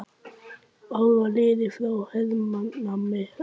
Ár var liðið frá hernámi Íslands.